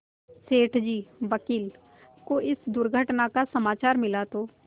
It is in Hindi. सेठ जी वकील को इस दुर्घटना का समाचार मिला तो